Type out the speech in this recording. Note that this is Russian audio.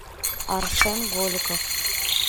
арсен голиков